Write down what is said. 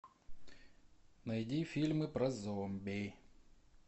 найди фильмы про зомби